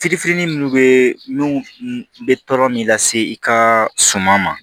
Fitinin minnu bɛ n'u bɛ tɔɔrɔ min lase i ka suman ma